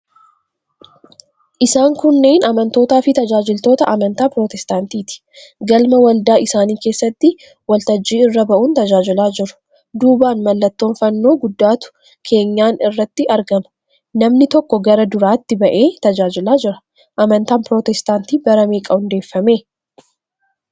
Isaan kunneen amantootaafi tajaajiltoota amantaa pirotestaantiiti. Galma waldaa isaanii keessatti waltajjii irra ba'uun tajaajilaa jiru. Duubaan mallattoon fannoo guddaatu keenyan irratti argama. Namni tokko gara duraatti ba'ee tajaajilaa jira. Amantaan pirotestaantii bara meeqa hundeeffame?